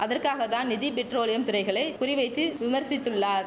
அதற்காகத்தான் நிதி பெட்ரோலியம் துறைகளை குறி வைத்து விமர்சித்துள்ளார்